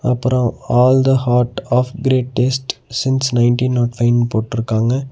அப்றோ all the heart of great taste since nineteen nought five போட்டுருக்காங்க.